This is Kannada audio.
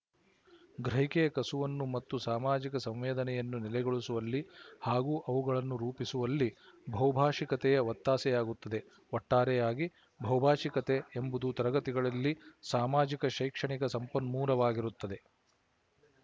ಗ್ರಹಿಕೆಯ ಕಸುವನ್ನು ಮತ್ತು ಸಾಮಾಜಿಕ ಸಂವೇದನೆಯನ್ನು ನೆಲೆಗೊಳಿಸುವಲ್ಲಿ ಹಾಗೂ ಅವುಗಳನ್ನು ರೂಪಿಸುವಲ್ಲಿ ಬಹುಭಾಶಿಕತೆಯು ಒತ್ತಾಸೆಯಾಗುತ್ತದೆ ಒಟ್ಟಾರೆಯಾಗಿ ಬಹುಭಾಶಿಕತೆ ಎಂಬುದು ತರಗತಿಗಳಲ್ಲಿ ಸಾಮಾಜಿಕ ಶೈಕ್ಷಣಿಕ ಸಂಪನ್ಮೂಲವಾಗಿರುತ್ತದೆ